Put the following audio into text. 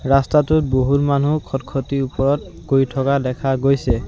ৰাস্তাটোত বহুত মানুহ খটখটিৰ ওপৰত গৈ থকা দেখা গৈছে।